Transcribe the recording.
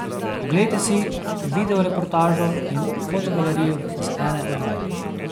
Oglejte si videoreportažo in fotogalerijo z ene od vaj!